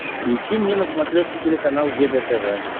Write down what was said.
включи мне на смотрешке телеканал егэ тв